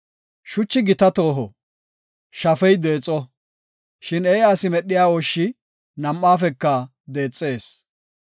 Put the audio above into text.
Shuchi gita tooho; shafey deexo; shin eeya asi medhiya ooshshi nam7aafeka deexees.